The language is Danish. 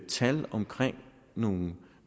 tal omkring nogle